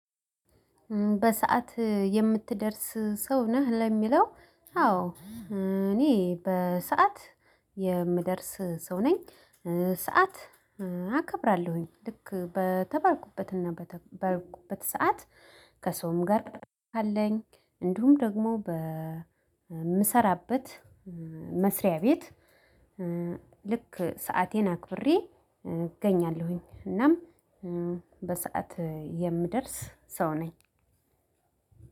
በሰአት የምትደርስ ሰው ነህ ለሚለው? አዎ እኔ በሰአት የምደርስ ሰው ነኝ። ሰዓት አከብራለሁኝ ልክ በተባልኩበት ሰዓት ከሰውም ጋር ከሰውም ጋር ካለኝ እንዲሁም ደግሞ እምሰራበት መስሪያ ቤት። ልክ ሰአቴን አክብሬ እገኛለሁኝ። እናም በሰአት የምደርስ ሰው ነኝ።